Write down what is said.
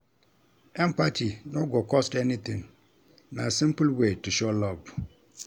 Empathy no go cost anything; na simple way to show love.